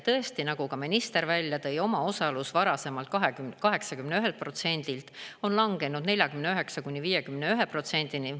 Tõesti, nagu ka minister välja tõi, omaosalus varasemalt 81%-lt on langenud 49–51%-ni.